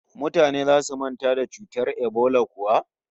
Mutane zasu manta da cutar ebola kuwa?